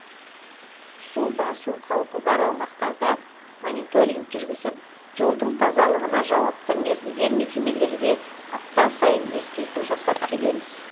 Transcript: су басу қаупі бар аумақтарда мониторинг жүргізіп жолдың тазалығына жауапты мердігер мекемелерге апта сайын ескерту жасап келеміз